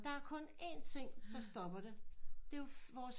Der er kun en ting der stopper det det er jo vores